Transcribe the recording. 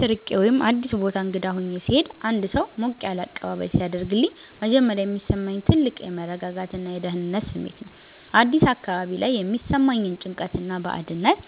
ከቤት ርቄ ወይም አዲስ ቦታ እንግዳ ሆኜ ስሄድ አንድ ሰው ሞቅ ያለ አቀባበል ሲያደርግልኝ መጀመሪያ የሚሰማኝ ትልቅ የመረጋጋትና የደህንነት ስሜት ነው። አዲስ አካባቢ ላይ የሚሰማኝን ጭንቀትና ባዕድነት